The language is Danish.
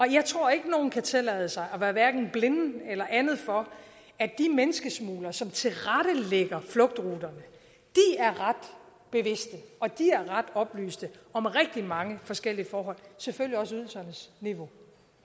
jeg tror ikke nogen kan tillade sig at være hverken blinde eller andet for at de menneskesmuglere som tilrettelægger flugtruterne er ret bevidst og oplyst om rigtig mange forskellige forhold selvfølgelig også ydelsernes niveau